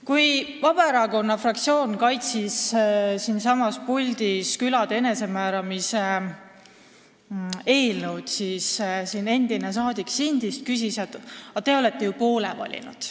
Kui Vabaerakonna fraktsioon kaitses siin puldis külade enesemääramise eelnõu, siis endine saadik Sindist märkis, et te olete ju poole valinud.